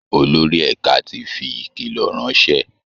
Olórí ẹ̀ka ti fi ìkìlọ̀ ránṣẹ́